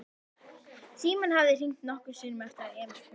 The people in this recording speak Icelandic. Síminn hafði hringt nokkrum sinnum eftir að Emil kom heim.